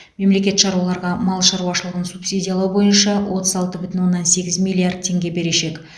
мемлекет шаруаларға мал шаруашылығын субсидиялау бойынша отыз алты бүтін оннан сегіз миллиард теңге берешек